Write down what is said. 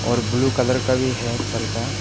और blue colour का भी है पर्दा --